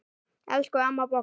Elsku amma Bogga.